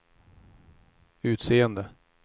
utseende